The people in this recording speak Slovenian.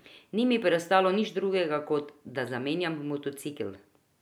Ni mi preostalo nič drugega kot, da zamenjam motocikel.